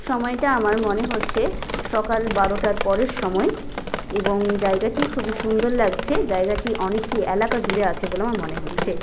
সময়টা আমার মনে হচ্ছে সকাল বারোটার পরের সময় এবং জায়গাটি খুবই সুন্দর লাগছে জায়গাটি অনেকটি এলাকা জুড়ে আছে বলে আমার মনে হচ্ছে।